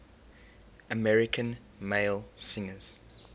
american male singers